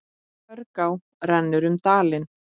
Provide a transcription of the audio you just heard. Hörgá rennur um dalinn.